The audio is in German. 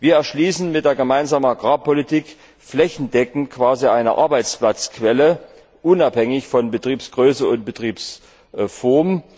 Wir erschließen mit der Gemeinsamen Agrarpolitik flächendeckend quasi eine Arbeitsplatzquelle, unabhängig von Betriebsgröße und Betriebsform.